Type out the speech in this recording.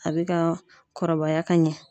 A bɛ ka kɔrɔbaya ka ɲɛ.